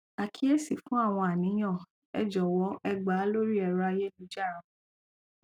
àkíyèsí fú àwọn àníyàn ẹ jọwọ ẹ gba lórí ẹrọ ayélujára